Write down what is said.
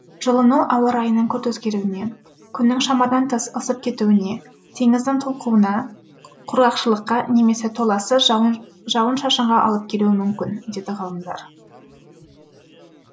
жылыну ауа райының күрт өзгеруіне күннің шамадан тыс ысып кетуіне теңіздің толқуына құрғақшылыққа немесе толассыз жауын шашынға алып келуі мүмкін дейді ғалымдар